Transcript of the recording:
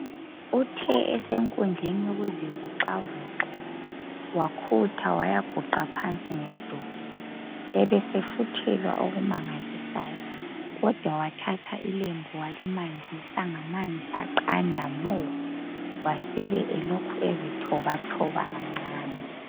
Uthe esenkundleni yokuzivoxavoxa wakhutha wayaguqa phansi ngedolo ebesefuthelwa okumangalisayo kodwa wathatha ilembu walimanzisa ngamanzi aqanda mo wasebe elokhu ezithobathoba kancane.